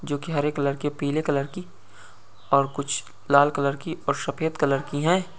जोकि हरे कलर की पीले कलर की और कुछ लाल कलर की और सफेद कलर की हैं।